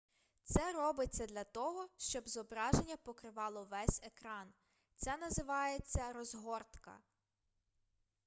це робиться для того щоб зображення покривало весь екран це називається розгортка